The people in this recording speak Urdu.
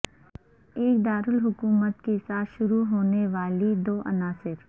ایک دارالحکومت کے ساتھ شروع ہونے والی دو عناصر